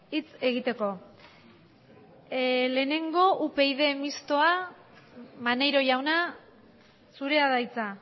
hitz egiteko lehenengo upyd mixtoa maneiro jauna zurea da hitza